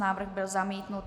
Návrh byl zamítnut.